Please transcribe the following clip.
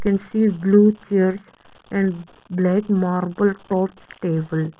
I can see blue chairs and black marble tops tables.